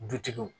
Dutigiw